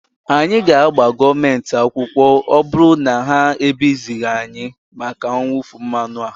anyị ga-agba gọọmenti akwụkwọ ma ọ bụrụ na ha ebizighị anyị maka mwụfu mmanụ a